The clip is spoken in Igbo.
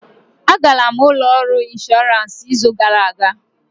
A gara m ụlọ ọrụ inshọransị izu gara aga